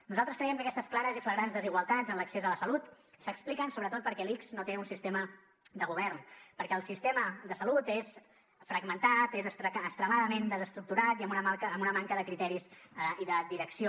nosaltres creiem que aquestes clares i flagrants desigualtats en l’accés a la salut s’expliquen sobretot perquè l’ics no té un sistema de govern perquè el sistema de salut és fragmentat és extremadament desestructurat i amb una manca de criteris i de direcció